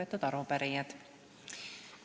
Head arupärijad!